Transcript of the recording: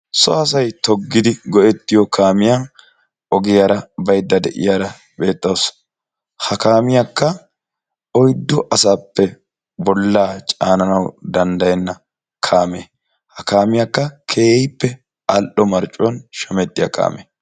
So asay toggidi go'ettiyoo kaamiya ogiyara bayidda de'iyaara beettawusu. Ha kaamiyakka oyiddu asappe bollaa caananawu danddayenna kaame. Ha kaamiyakka keehippe al'o marccuwan shamattiya kaame.